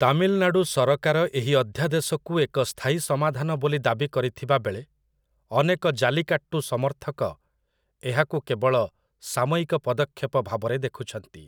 ତାମିଲନାଡ଼ୁ ସରକାର ଏହି ଅଧ୍ୟାଦେଶକୁ ଏକ ସ୍ଥାୟୀ ସମାଧାନ ବୋଲି ଦାବି କରିଥିବାବେଳେ, ଅନେକ ଜାଲିକାଟ୍ଟୁ ସମର୍ଥକ ଏହାକୁ କେବଳ 'ସାମୟିକ ପଦକ୍ଷେପ' ଭାବରେ ଦେଖୁଛନ୍ତି ।